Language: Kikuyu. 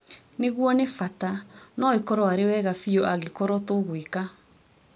Nĩguo nĩ bata. No ĩkorwo arĩ wega biũ angĩkorwo tũgwĩka